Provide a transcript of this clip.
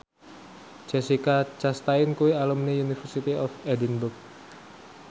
Jessica Chastain kuwi alumni University of Edinburgh